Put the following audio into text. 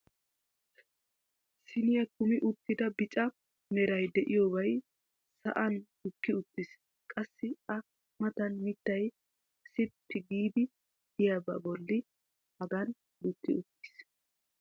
siiniya kummi uttida bicca meray diyobay sa'an gukki uttiis. qassi a matan mittay sippi giidi diyaba boli hagan gukki uttiis.